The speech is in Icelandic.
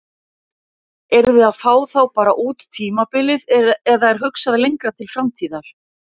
Eruð þið að fá þá bara út tímabilið eða er hugsað lengra til framtíðar?